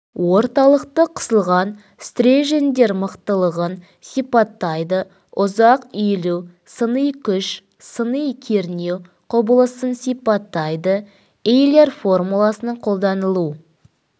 орталықты қысылған стерженьдер мықтылығын сипаттайды ұзақ иілу сыни күш сыни кернеу құбылысын сипаттайды эйлер формуласының қолданылу